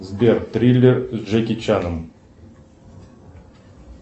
сбер триллер с джеки чаном